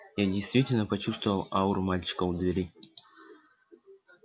я действительно почувствовал ауру мальчика у двери